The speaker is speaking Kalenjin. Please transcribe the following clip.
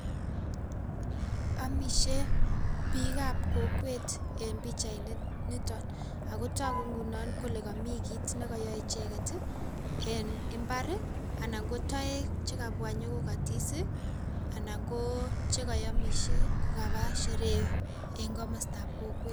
omishe biik kap kokwet en pichait initon ago togu ngunon kole komii kit nekoyoe icheket ii en imbar ana kotoek chekabwa inyoo kokotis ii anan koo chekoyomise ko kapaa sherehe en komostab kokwet